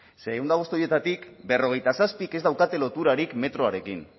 ze ehun eta bost horietatik berrogeita zazpik ez daukate loturarik metroarekin